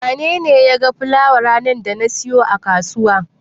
Wanene ya ga fulawar ranar da na siyo a kasuwa?